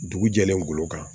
Dugu jɛlen golo kan